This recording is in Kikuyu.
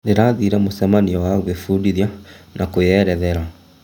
Ndĩrathire mũcemanio wa gwĩbundithia na kwĩerethera.